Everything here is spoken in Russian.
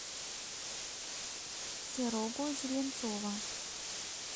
серого зеленцова